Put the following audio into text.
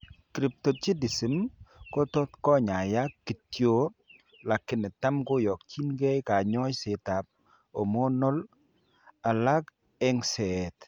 Cryptorchidism kotot kenyaiyak kityon lakini tam koakyinkee kanyoiseet ab hormonal alako eng'seet